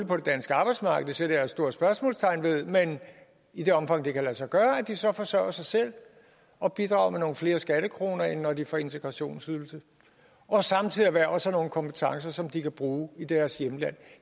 på det danske arbejdsmarked og det sætter jeg et stort spørgsmålstegn ved men i det omfang det så kan lade sig gøre forsørger sig selv og bidrager med nogle flere skattekroner end når de får integrationsydelse og samtidig erhverver sig nogle kompetencer som de kan bruge i deres hjemland